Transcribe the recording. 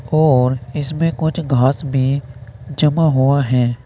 और इसमें कुछ घास भी जमा हुआ हैं।